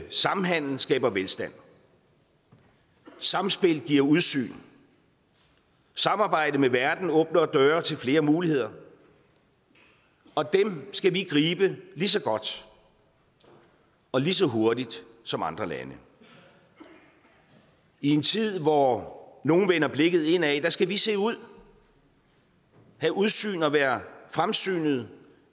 samhandel skaber velstand samspil giver udsyn samarbejde med verden åbner døre til flere muligheder og dem skal vi gribe lige så godt og lige så hurtigt som andre lande i en tid hvor nogle vender blikket indad skal vi se ud have udsyn og være fremsynede